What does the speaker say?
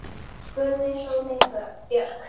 spurði Sóley Björk.